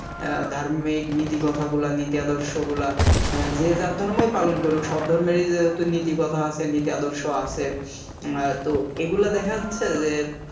অ্যাঁ ধার্মিক নীতি কথাগুলা নীতি আদর্শগুলা অ্যাঁ যে যার ধর্মই পালন করুক সব ধর্মেরই নীতি কথা আছে নীতি আদর্শ আছে অ্যাঁ তো এগুলা দেখা যাচ্ছে যে